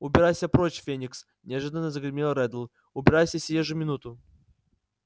убирайся прочь феникс неожиданно загремел реддл убирайся сию же минуту